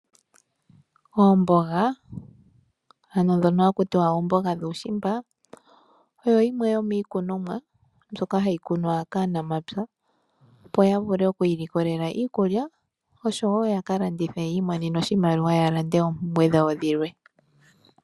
Oomboga ano dhono haku tiwa oomboga dhuushimba oyi yimwe yomikunomwa mbyoka hayi kunwa kaanamapya, opo ya vule oku ilikolela iikulya oshowo yakalandithe yi imonene oshimaliwa ya lande oompumbwe dhawo dhilwe.